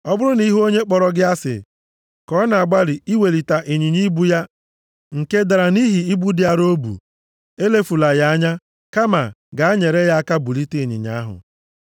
Ọ bụrụ na ị hụ onye kpọrọ gị asị ka ọ na-agbalị iwelite ịnyịnya ibu ya nke dara nʼihi ibu dị arọ o bu, elefula ya anya, kama gaa nyere ya aka bulite ịnyịnya ahụ.